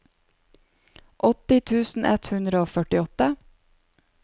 åtti tusen ett hundre og førtiåtte